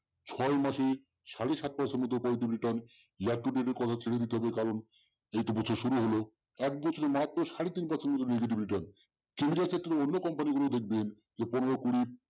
ছয় মাসে সাড়ে সাত percent পর্যন্ত return return এর কারণ এইতো বছর শুরু হল এক বছর মাত্র সাড়ে তিন percent negative return এর ক্ষেত্রে অন্য company গুলো দেখবেন যে পনের কুড়ি